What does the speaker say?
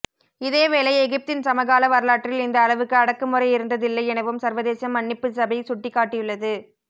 இதேவேளை எகிப்தின் சமகால வரலாற்றில் இந்த அளவுக்கு அடக்குமுறை இருந்ததில்லை எனவும் சர்வதேச மன்னிப்புச்சபை சுட்டிக்காட்டியுள்ளது